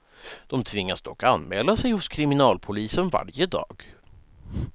De tvingas dock anmäla sig hos kriminalpolisen varje dag.